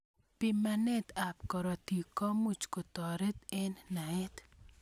Bimanet ab karotik komuch koteret eng naet.